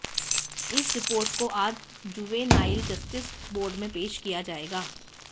इस रिपोर्ट को आज जुवेनाइल जस्टिस बोर्ड में पेश किया जाएगा